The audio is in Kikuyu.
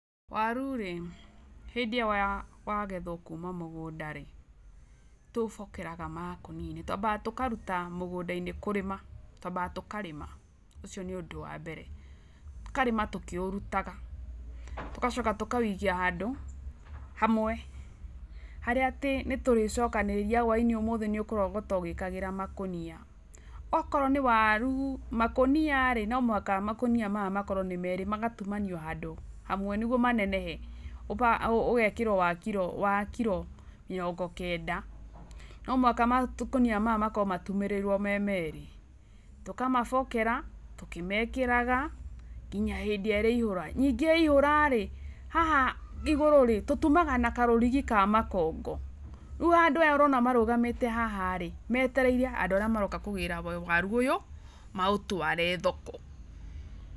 Waru rĩ, hĩndĩ ĩrĩa wagethwo kuma mũgũnda rĩ, tũ ũbokeraga makũnia-inĩ. Twambaga tũkaruta mũgũnda-inĩ, kũrĩma. Twambaga tũkarĩma. Ũcio nĩ ũndũ wa mbere. Tũkarĩma tũkĩũrutaga, tũgacoka tũkawikia handũ hamwe, harĩa atĩ nĩ tũrĩcokanĩrĩria hwainĩ ũmũthĩ, nĩ ũkũrogota ũgĩkagĩra makũnia. Okorwo nĩ waru, makũnia rĩ, no mũhaka makũnia maya makorwo nĩ merĩ, magatumanio handũ hamwe nĩguo manenehe. Ũgekĩrwo wa kiro, wa kiro mĩrongo kenda. No mũhaka makũnia maya makorwo matumĩrĩirwo me merĩ. Tũkamabokera, tũkĩmekĩraga nginya hĩndĩ ĩrĩa ĩrĩihũra. Ningĩ yaihũrarĩ, haha igũrũrĩ, tũtumaga na karũrigi ka makongo. Rĩu andũ aya ũrona marũgamĩte haha rĩ, metereire andũ arĩa maroka kũgĩra waru ũyũ maũtware thoko.